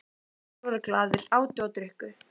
Allir voru glaðir, átu og drukku.